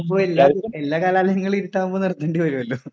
എല്ലാ കലാലയങ്ങളിലും ഇരുട്ടാവുമ്പോൾ നിർത്തേണ്ടി വരുമല്ലോ.